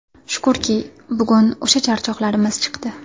Shukurki, bugun o‘sha charchoqlarimiz chiqdi.